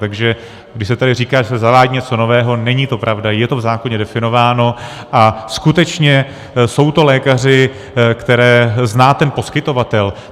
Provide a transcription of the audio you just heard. Takže když se tady říká, že se zavádí něco nového, není to pravda, je to v zákoně definováno, a skutečně jsou to lékaři, které zná ten poskytovatel.